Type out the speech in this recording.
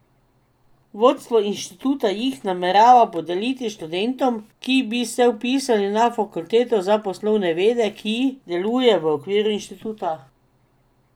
Vodstvo inštituta jih namerava podeliti študentom, ki bi se vpisali na Fakulteto za poslovne vede, ki deluje v okviru inštituta.